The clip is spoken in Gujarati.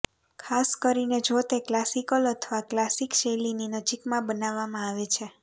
ખાસ કરીને જો તે ક્લાસિકલ અથવા ક્લાસિક શૈલીની નજીકમાં બનાવવામાં આવે છે